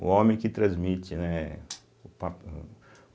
O homem que transmite, né? O papi o